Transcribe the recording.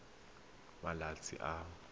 e e tsayang malatsi a